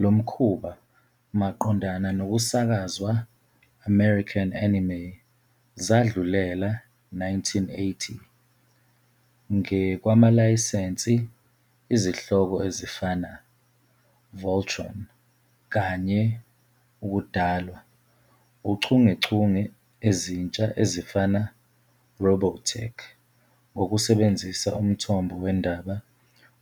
Lo mkhuba maqondana nokusakazwa American anime zadlulela 1980 nge kwamalayisensi izihloko ezifana "Voltron" kanye 'ukudalwa' uchungechunge ezintsha ezifana "Robotech" ngokusebenzisa umthombo wendaba